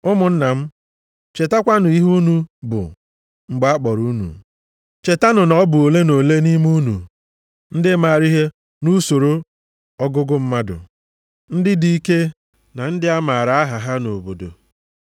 Ụmụnna m, chetakwanụ ihe unu bụ mgbe a kpọrọ unu. Chetanụ na ọ bụ ole na ole nʼime unu bụ ndị maara ihe nʼusoro ogugo mmadụ, ndị dị ike, na ndị a maara aha ha nʼobodo.